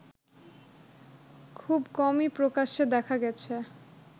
খুব কমই প্রকাশ্যে দেখা গেছে